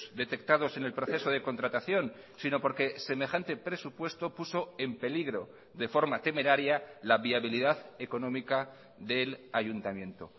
detectados en el proceso de contratación sino porque semejante presupuesto puso en peligro de forma temeraria la viabilidad económica del ayuntamiento